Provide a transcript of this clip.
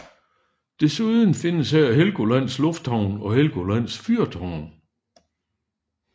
Desuden findes her Helgolands lufthavn og Helgolands fyrtårn